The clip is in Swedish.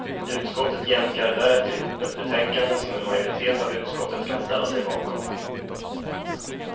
Utskottet jämkar därefter ihop ett betänkande som en majoritet av utskottet kan ställa sig bakom.